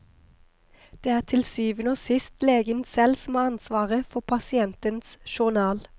Det er til syvende og sist legen selv som har ansvaret for pasientens journal.